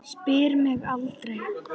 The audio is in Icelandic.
Spyr mig aldrei.